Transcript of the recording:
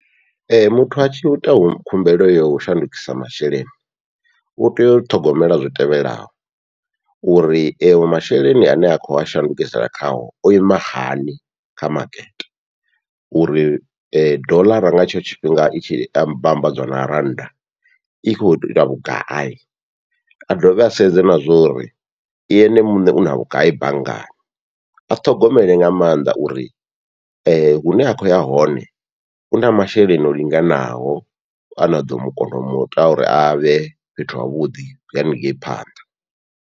Ee muthu atshi ita khumbelo yau shandukisa masheleni utea u ṱhogomela zwitevhelaho, uri eyo masheleni ane a kho a shandukisela khawo o ima hani kha makete, uri dollar nga tshetsho tshifhinga i tshi amba vhambadziwa na rannda i kho ita vhugai, a dovhe a sedze na zwori i ene muṋe una vhugai banngani a ṱhogomele nga maanḓa uri hune a khou ya hone u na masheleni o linganaho ana ḓo mu kona u muita uri avhe fhethu havhuḓi haningei phanḓa.